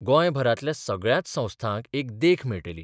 गोंयभरांतल्या सगळ्याच संस्थांक एक देख मेळटली.